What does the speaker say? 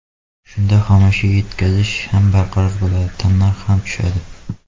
Shunda xomashyo yetkazish ham barqaror bo‘ladi, tannarx ham tushadi.